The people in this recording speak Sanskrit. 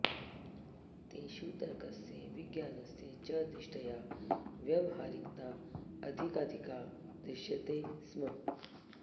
तेषु तर्कस्य विज्ञानस्य च दृष्ट्या व्यवहारिकता अधिकाधिका दृश्यते स्म